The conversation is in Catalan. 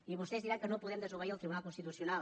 i vostès diran que no podem desobeir el tribunal constitucional